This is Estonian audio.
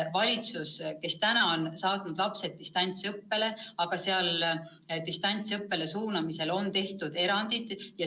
Valitsus on praegu saatnud lapsed distantsõppele, aga selles on tehtud erandid.